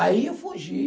Aí eu fugi.